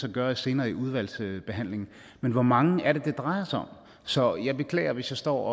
at gøre senere i udvalgsbehandlingen men hvor mange er det det drejer sig om så jeg beklager hvis jeg står